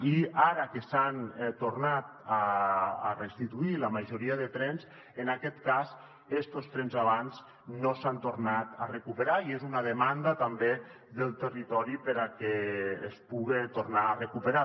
i ara que s’han tornat a restituir la majoria de trens en aquest cas estos trens avant no s’han tornat a recuperar i és una demanda també del territori que es puguin tornar a recuperar